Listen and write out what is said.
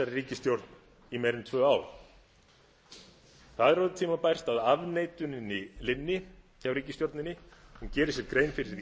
ríkisstjórn í meira en tvö ár það er orðið tímabært að afneituninni linni hjá ríkisstjórninni hún geri sér grein fyrir því